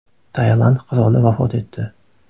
Tailand qiroli vafot etdi.